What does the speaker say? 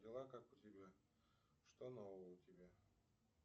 дела как у тебя что нового у тебя